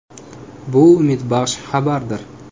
Bu umidbaxsh xabardir.